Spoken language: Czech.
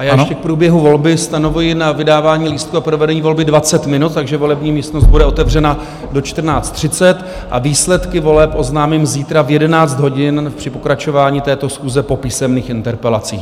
A já ještě k průběhu volby stanovuji na vydávání lístků a provedení volby 20 minut, takže volební místnost bude otevřena do 14.30 a výsledky voleb oznámím zítra v 11 hodin při pokračování této schůze po písemných interpelacích.